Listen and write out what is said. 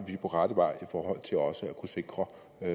vi er på rette vej i forhold til også at kunne sikre